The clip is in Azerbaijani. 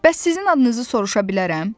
Bəs sizin adınızı soruşa bilərəm?